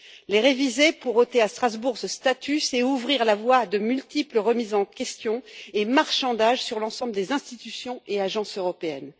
Les réviser pour ôter à Strasbourg ce statut, c'est ouvrir la voie à de multiples remises en question et marchandages sur l'ensemble des institutions et agences européennes.